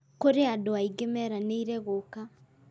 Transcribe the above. Kũrĩ andũ aingĩ meranĩire gũũka